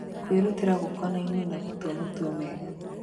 Kwĩrutĩra gũkonainie na gũtua matua mega.